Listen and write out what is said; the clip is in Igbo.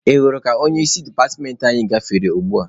Ị hụrụ ka onye isi departmentị anyị gafere ugbua?